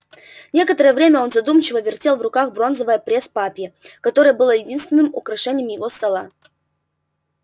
некоторое время он задумчиво вертел в руках бронзовое пресс-папье которое было единственным украшением его стола